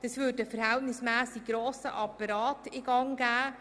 Das würde einen verhältnismässig grossen Apparat in Gang setzen.